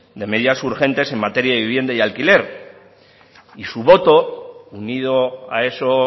de medidas urgentes en materia de vivienda y alquiler y su voto unido a eso